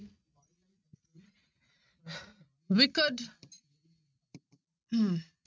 Wicked ਹਮ